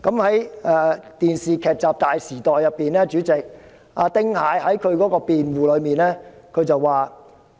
在電視劇集"大時代"中，丁蟹為自己辯護時說："